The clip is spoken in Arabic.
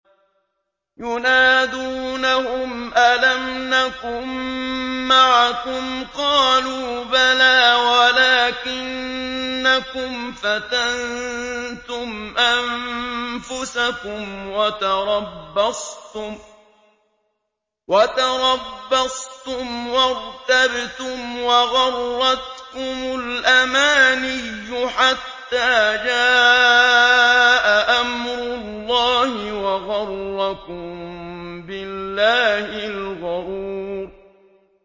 يُنَادُونَهُمْ أَلَمْ نَكُن مَّعَكُمْ ۖ قَالُوا بَلَىٰ وَلَٰكِنَّكُمْ فَتَنتُمْ أَنفُسَكُمْ وَتَرَبَّصْتُمْ وَارْتَبْتُمْ وَغَرَّتْكُمُ الْأَمَانِيُّ حَتَّىٰ جَاءَ أَمْرُ اللَّهِ وَغَرَّكُم بِاللَّهِ الْغَرُورُ